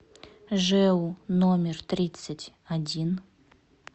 жэу номер тридцать один